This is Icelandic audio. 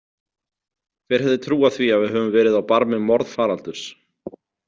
Hver hefði trúað því að við höfum verið á barmi morðfaraldurs?